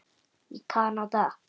í Kanada.